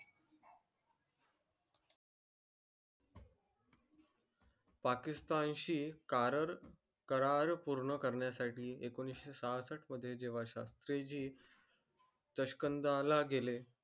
पाकिस्तान शी पूर्ण करण्या साठी एकोणीशे मध्ये जेव्हा शास्त्री जी गेले